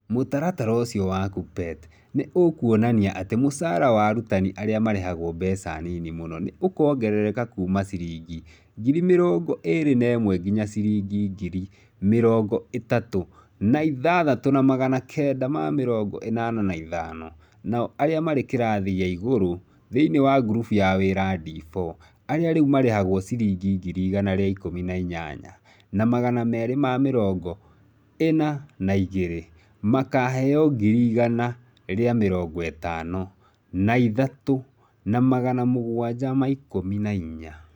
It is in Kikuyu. Mũtaratara ũcio wa Kuppet nĩ ũkuonania atĩ mũcara wa arutani arĩa marĩhagwo mbeca nini mũno nĩ ũkuongerereka kuuma ciringi ngiri mĩrongo ĩrĩ na ĩmwe nginya ciringi ngiri mĩrongo ĩtat ũ na ithathat ũ na magana kenda ma mĩrongo ĩnana na ithano, nao arĩa marĩ kĩrathi gĩa igũrũ thĩinĩ wa ngurubu ya Wĩra D4 arĩa rĩu marĩhagwo ciringi ngiri igana rĩa ik ũmi na inyanya na magana meri ma mĩrongo ĩna na igĩrĩ makaheo ngiri igana rĩa mĩrongo ĩtano na ithat ũ na magana m ũgwaja ma ik ũmi na inya